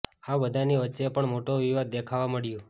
આ બધાની વચ્ચે પણ મોટો વિવાદ દેખવા મળ્યુ